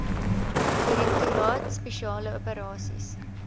direktoraat spesiale operasies